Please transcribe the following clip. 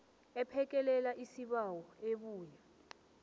ephekelela isibawo ebuya